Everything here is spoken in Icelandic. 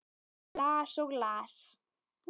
Las og las.